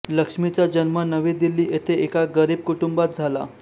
लक्ष्मीचा जन्म नवी दिल्ली येथे एका गरीब कुटुंबात झाला